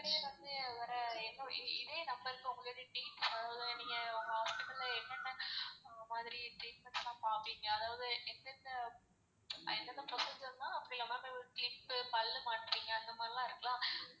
இப்படியே வந்து ஒரு இதே number க்கு உங்களோட அதாவது நீங்க உங்க என்னென்ன மாதிரி treatments லாம் பாப்பீங்க அதாவது எந்தெந்த procedure லான் clip பு பல்லு மாட்றீங்க அந்த மாதிரி லான் இருக்குல.